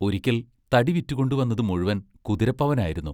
ഒരിക്കൽ തടി വിറ്റുകൊണ്ടു വന്നതു മുഴുവൻ കുതിരപ്പവനായിരുന്നു.